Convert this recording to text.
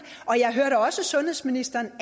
og jeg hørte også sundhedsministeren